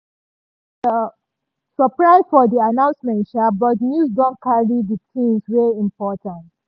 we surprise for di announcement sha but news don carry di things wey important.